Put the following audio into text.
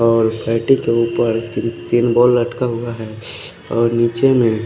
और पेटी के उपर तिन तिन बो लटका हुआ है और निचे में--